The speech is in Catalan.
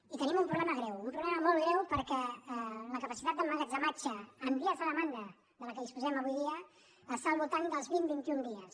i tenim un problema greu un problema molt greu perquè la capacitat d’emmagatzematge en vies de demanda de la qual disposem avui en dia està al voltant dels vint vint i un dies